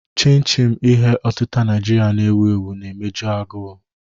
Chin-chin, ihe otita Naijiria na-ewu ewu, na-emeju agụụ.